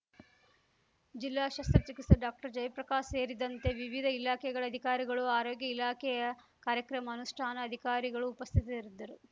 ಜಿಲ್ಲಾ ಶಸ್ತ್ರಚಿಕಿತ್ಸಕ ಡಾಕ್ಟರ್ಜಯಪ್ರಕಾಶ್‌ ಸೇರಿದಂತೆ ವಿವಿಧ ಇಲಾಖೆಗಳ ಅಧಿಕಾರಿಗಳು ಆರೋಗ್ಯ ಇಲಾಖೆಯ ಕಾರ್ಯಕ್ರಮ ಅನುಷ್ಠಾನ ಅಧಿಕಾರಿಗಳು ಉಪಸ್ಥಿತರಿದ್ದರು